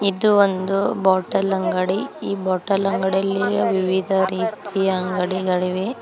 ಇದು ಒಂದು ಬಾಟಲ್ ಅಂಗಡಿ ಈ ಬಾಟಲ್ ಗಳಲ್ಲಿ ವಿವಿಧ ರೀತಿಯ ಅಂಗಡಿಗಳಿವೆ.